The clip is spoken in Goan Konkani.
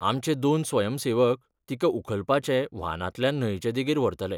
आमचे दोन स्वयंसेवक तिका उखलपाचे वाहनांतल्यान न्हंयचे देगेर व्हरतले.